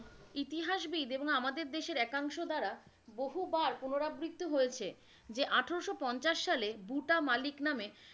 ইতিহাসবিদ এবং আমাদের দেশের একাংশ দ্বারা বহুবার পুনরাবৃত্ত হয়েছে, যে আঠারোশো পঞ্চাস সালে বুটা মালিক নামে,